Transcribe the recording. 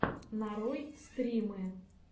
нарой стримы